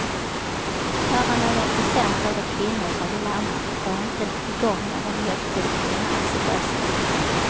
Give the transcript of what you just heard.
Bara någon procent av de kvinnor som vill amma får inte igång någon mjölkproduktion alls i brösten.